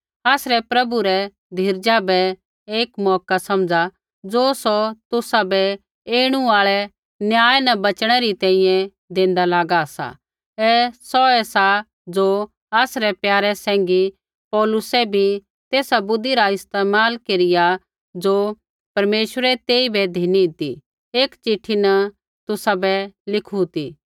आसरै प्रभु रै धीरजा बै एक मौका समझ़ा ज़ो सौ तुसाबै ऐणु आल़ै न्याय न बच़णै री तैंईंयैं देंदा लागा सा ऐ सौऐ सा ज़ो आसरै प्यारे सैंघी पौलुसै भी तेसा बुद्धि रा इस्तेमाल केरिया ज़ो परमेश्वरै तेइबै धिनी ती एक चिट्ठी न तुसाबै लिखू ती